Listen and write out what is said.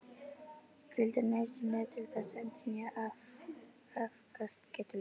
Hvíld er nauðsynleg til þess að endurnýja afkastagetu líkamans.